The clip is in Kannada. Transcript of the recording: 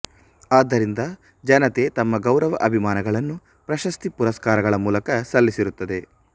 ಆದ್ದರಿಂದ ಜನತೆ ತಮ್ಮ ಗೌರವ ಅಭಿಮಾನಗಳನ್ನು ಪ್ರಶಸ್ತಿ ಪುರಸ್ಕಾರಗಳ ಮೂಲಕ ಸಲ್ಲಿಸಿರುತ್ತದೆ